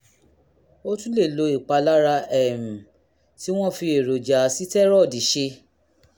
o tún lè lo ìpara um tí wọ́n fi èròjà sítẹ́rọ́ọ̀dì ṣe